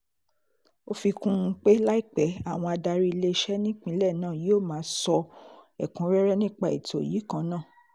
ó fi kún un pé láìpẹ́ àwọn adarí iléeṣẹ́ nípínlẹ̀ náà yóò máa sọ ẹ̀kúnrẹ́rẹ́ nípa ètò yìí kan náà